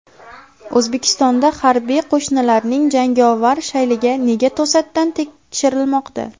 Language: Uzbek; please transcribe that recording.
O‘zbekistonda harbiy qo‘shinlarning jangovar shayligi nega to‘satdan tekshirilmoqda?.